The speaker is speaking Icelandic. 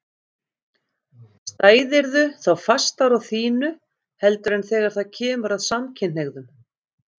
Stæðirðu þá fastar á þínu heldur en þegar það kemur að samkynhneigðum?